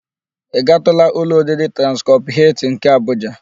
Ị gaatụla ụlọ oriri Transcọp Hịltịn nke Abuja?